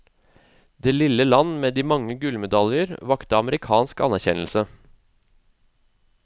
Det lille land med de mange gullmedaljer vakte amerikansk anerkjennelse.